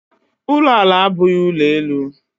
ụlọ ala abụghị ụlọ elu.